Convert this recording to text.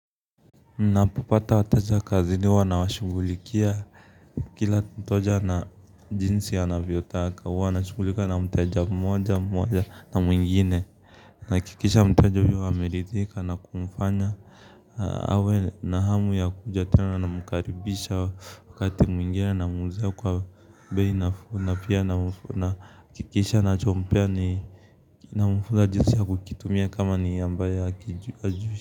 Napopata wateja kazini huwa nawashugulikia kila mteja na jinsi anavyotaka huwa na shungulika na mteja mmoja mmoja na mwingine nahakikisha mteja huyo ameridhika na kumfanya awe na hamu ya kuja tena na namkaribisha wakati mwingine namuuzia kwa bei nafuu na pia nahakikisha nachompea nina mfunza jinsi ya kukitumia kama ni ambaye hajui.